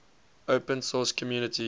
open source community